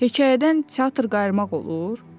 Hekayədən teatr qayırmaq olur?